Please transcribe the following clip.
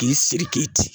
K'i siri k'i ci